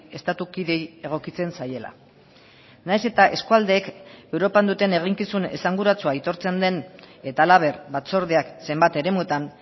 estatu kideei egokitzen zaiela nahiz eta eskualdeek europan duten eginkizun esanguratsua aitortzen den eta halaber batzordeak zenbat eremutan